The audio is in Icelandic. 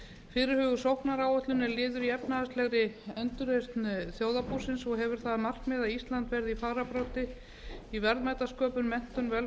fyrirhuguð sóknaráætlun er liður í efnahagslegri endurreisn þjóðarbúsins og hefur það að markmiði að ísland verði í fararbroddi í verðmætasköpun menntun